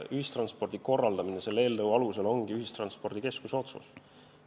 Ühistranspordi korraldamine selle eelnõu alusel ongi ühistranspordikeskuse otsus.